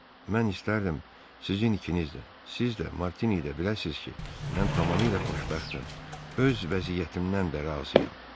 mən istərdim sizin ikiniz də, siz də, Martini də biləsiz ki, mən tamamilə xoşbəxtəm, öz vəziyyətimdən də razıyam.